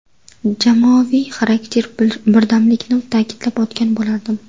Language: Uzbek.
Jamoaviy xarakter, birdamlikni ta’kidlab o‘tgan bo‘lardim.